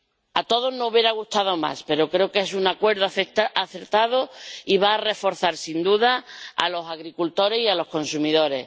A todos no hubiera gustado más, pero creo que es un acuerdo acertado y va a reforzar sin duda a los agricultores y a los consumidores.